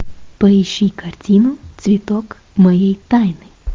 поищи картину цветок моей тайны